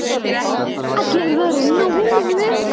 Allir voru á nálum.